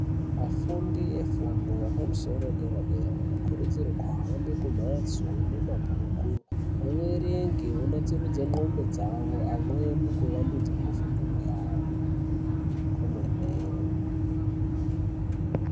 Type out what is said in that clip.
Afundi efundo yepamusoro yedera dera anokurudzirwa kuhambe kumhatso inemabhuku averenge onatsurudza ndxondo dzavo amweni kuvandudza mufungiro yavo komene.